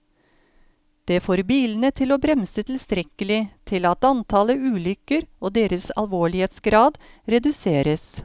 Det får bilene til å bremse tilstrekkelig til at antallet ulykker og deres alvorlighetsgrad reduseres.